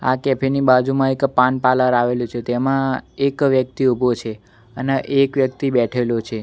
આ કેફે ની બાજુમાં એક પાન પાર્લર આવેલુ છે તેમા એક વ્યક્તિ ઊભો છે અને એક વ્યક્તિ બેઠેલો છે.